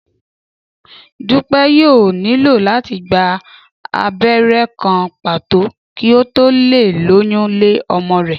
Dúpẹ́ yóò nílò láti gba abẹ́rẹ́ kan pàtó kí ó tó lè lóyún lé ọmọ rẹ̀